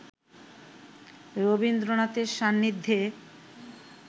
রবীন্দ্রনাথের সান্নিধ্যে